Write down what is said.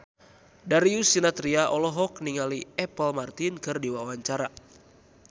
Darius Sinathrya olohok ningali Apple Martin keur diwawancara